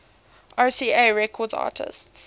rca records artists